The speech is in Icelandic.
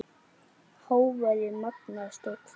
Hávaði magnast og hvinur.